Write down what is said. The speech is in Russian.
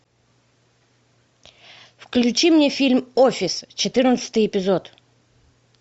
включи мне фильм офис четырнадцатый эпизод